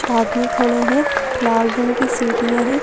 साथ में खड़े हैं लाल रंग की सीटियां हैं।